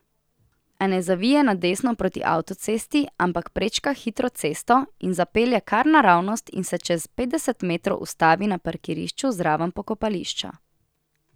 A ne zavije na desno proti avtocesti, ampak prečka hitro cesto in zapelje kar naravnost in se čez petdeset metrov ustavi na parkirišču zraven pokopališča.